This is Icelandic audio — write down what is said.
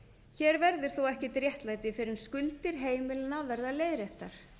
hér verður þó ekkert réttlæti fyrr en skuldir heimilanna verða leiðréttar